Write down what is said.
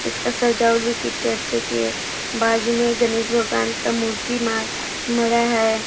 इसका सजावट भी कितने अच्छे की है बाजु मे एक गणेश भगवान की मूर्ति मा मड़ा है।